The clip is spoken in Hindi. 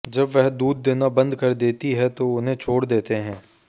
जब वह दूध देना बंद कर देती है तो उन्हें छोड़ देते हैं